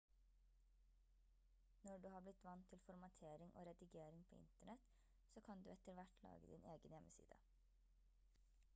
når du har blitt vant til formatering og redigering på internett så kan du etter hvert lage din egen hjemmeside